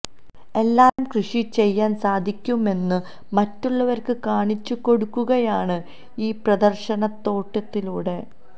എല്ലാത്തരം കൃഷി ചെയ്യാന് സാധിക്കുമെന്നു മറ്റുള്ളവര്ക്ക് കാണിച്ചു കൊടുക്കുകയാണ് ഈ പ്രദര്ശനത്തോട്ടത്തിലൂടെ